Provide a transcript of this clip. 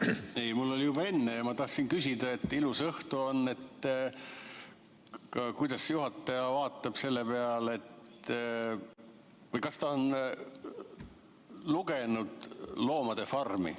Ei, mul oli juba enne ja ma tahtsin küsida, et ilus õhtu on, kuidas juhataja vaatab selle peale või kas ta on lugenud Orwelli "Loomade farmi".